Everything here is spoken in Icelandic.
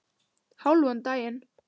Hálfan daginn.